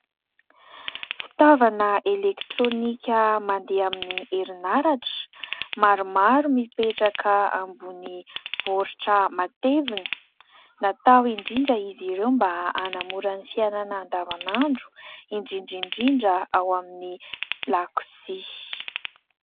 Fitaovana elektrônika mandeha amin'ny herinaratra maromaro mipetraka ambony baoritra matevina. Natao indrindra izy ireo mba hanamora ny fiainana andavanandro indrindra indrindra ao amin'ny lakozia.